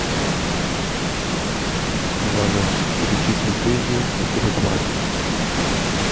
ивану перечислить деньги на теле два